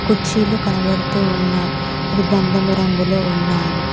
కుర్చీలు కనబడుతూ ఉన్నాయ్ అవి గంధము రంగులో ఉన్నాయి.